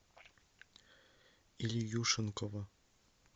ильюшенкова